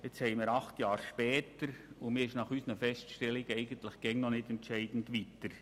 Das war vor acht Jahren, und heute ist man unseres Erachtens nicht entscheidend weiter.